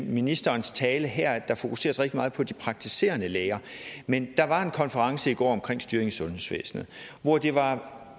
i ministerens tale her fokuseres rigtig meget på de praktiserende læger men der var en konference i går omkring styring i sundhedsvæsenet og det var et